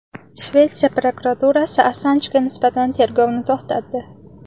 Shvetsiya prokuraturasi Assanjga nisbatan tergovni to‘xtatdi.